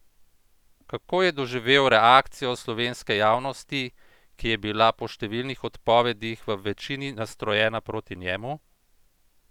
Kako je doživel reakcijo slovenske javnosti, ki je bila po številnih odpovedih v večini nastrojena proti njemu?